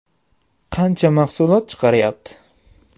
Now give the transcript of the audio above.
Qancha mahsulot chiqaryapti?